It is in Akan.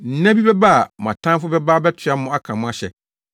Nna bi bɛba a mo atamfo bɛba abɛtoa mo aka mo ahyɛ,